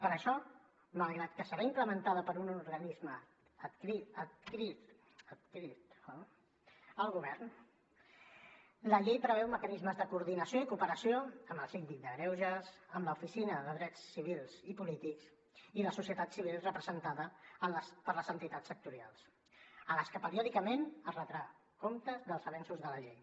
per això malgrat que serà implementada per un organisme adscrit al govern la llei preveu mecanismes de coordinació i cooperació amb el síndic de greuges amb l’oficina de drets civils i polítics i la societat civil representada per les entitats sectorials a les que periòdicament es retrà compte dels avenços de la llei